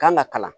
Kan ka kalan